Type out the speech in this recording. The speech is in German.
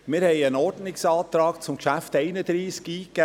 Wir haben einen Ordnungsantrag zum Traktandum 31 eingegeben.